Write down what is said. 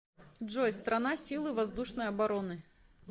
джой страна силы воздушной обороны